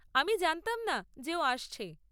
আমি জানতাম না যে ও আসছে।